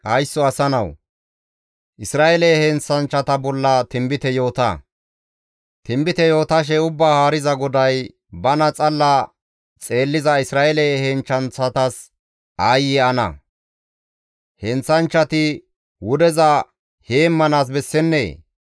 «Haysso asa nawu! Isra7eele heenththanchchata bolla tinbite yoota; tinbite yootashe, ‹Ubbaa Haariza GODAY, bana xalla xeelliza Isra7eele heenththanchchatas aayye ana! Heenththanchchati wudeza heemmanaas bessennee?